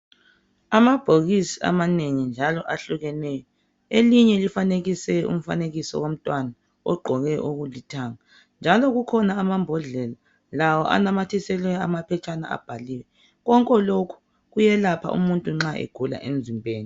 amabhokisi amanengi njalo ahlukeneyo elinye lifanekiswe umfanekiso womntwana ogqoke okulithanga njalo kukhona amambodlela lawo anamathiselwe ama phetshana abhaliwe konke lokhu kuyelapha umuntu nxa egula emzimbeni